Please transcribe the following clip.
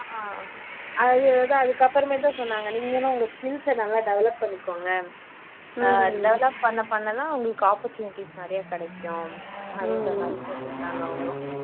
ஆமா அதுதான் அதுக்கு அப்பறமேட்டு தான் சொன்னாங்க நீங்களும் உங்க skills அ நல்லா develop பண்ணிக்கோங்க அஹ் develop பண்ண பண்ண தான் உங்களுக்கு opportunities நிறைய கிடைக்கும் அந்த மாதிரி சொல்லிருந்தாங்க அவங்களும்